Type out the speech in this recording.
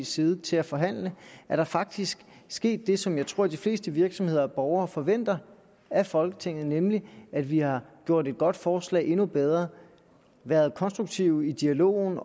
side til at forhandle er der faktisk sket det som jeg tror de fleste virksomheder og borgere forventer af folketinget nemlig at vi har gjort et godt forslag endnu bedre været konstruktive i dialogen